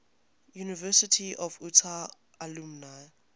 university of utah alumni